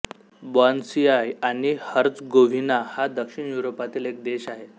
Bosnia आणि Herzegovina हा दक्षिण युरोपातील एक देश आहे